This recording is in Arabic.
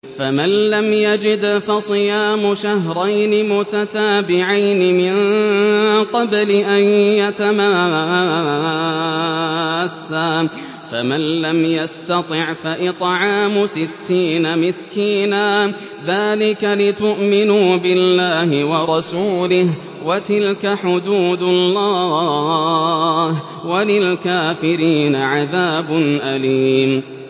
فَمَن لَّمْ يَجِدْ فَصِيَامُ شَهْرَيْنِ مُتَتَابِعَيْنِ مِن قَبْلِ أَن يَتَمَاسَّا ۖ فَمَن لَّمْ يَسْتَطِعْ فَإِطْعَامُ سِتِّينَ مِسْكِينًا ۚ ذَٰلِكَ لِتُؤْمِنُوا بِاللَّهِ وَرَسُولِهِ ۚ وَتِلْكَ حُدُودُ اللَّهِ ۗ وَلِلْكَافِرِينَ عَذَابٌ أَلِيمٌ